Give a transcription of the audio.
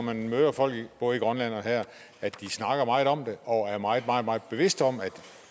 jeg møder folk både i grønland og her er at de snakker meget om det og er meget meget meget bevidste om at